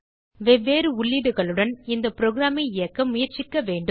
வெவ்வேறு உள்ளீடுகளுடன் இந்த புரோகிராம் ஐ இயக்க முயற்சிக்க வேண்டும்